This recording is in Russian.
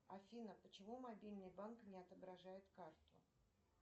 афина почему мобильный банк не отображает карту